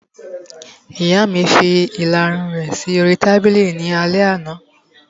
Ìyá mi fi ìlarun rẹ̀ sí oríi tábìlì ní alẹ́ àná